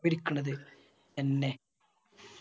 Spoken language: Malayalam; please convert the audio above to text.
ഇരിക്കണത് തെന്നെ